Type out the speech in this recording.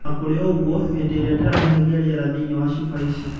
Ona kũri ũguo, hĩndĩ ĩrĩa ndĩrahihia rĩera thĩinĩ wa cuba ici